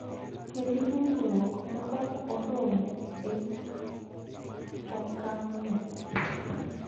Kendo dongruok ma ok oromo e okang�no.